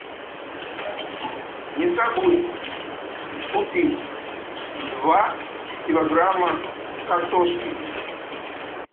не забудь купить два килограмма картошки